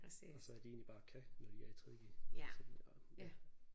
Og så at de egentlig bare kan når de er i tredje g sådan og ja